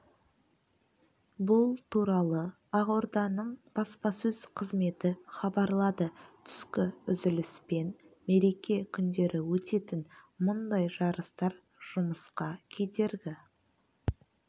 бұл туралы ақорданың баспасөз қызметі хабарлады түскі үзіліс пен мереке күндері өтетін мұндай жарыстар жұмысқа кедергі